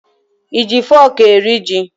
I ji fọọkụ eri ji?